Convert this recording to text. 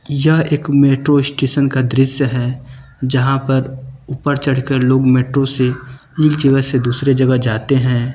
यह एक metro station का दृश्य है जहां पर ऊपर चढ़कर लोग मेट्रो से एक जगह से दूसरे जगह जाते हैं।